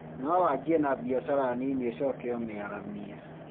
No wanjie na biacara nini ũcoke ũmĩaramie